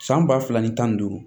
San ba fila ni tan ni duuru